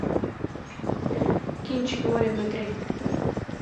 кинчик море внутри